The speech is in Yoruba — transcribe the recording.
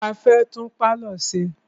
A fẹ́ tún pálọ̀ ṣe.